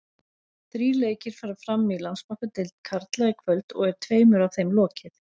Þrír leikir fara fram í Landsbankadeild karla í kvöld og er tveimur af þeim lokið.